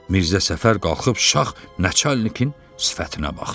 Mirzə Səfər qalxıb şax nəçalnikin sifətinə baxdı.